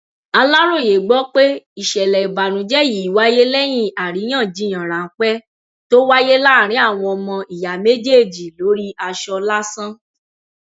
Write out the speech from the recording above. aláròye gbọ pé ìṣẹlẹ ìbànújẹ yìí wáyé lẹyìn àríyànjiyàn ráńpẹ tó wáyé láàrin àwọn ọmọ ìyá méjèèjì lórí aṣọ lásán